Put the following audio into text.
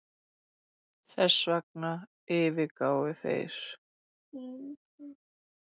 Þessvegna yfirgáfu þeir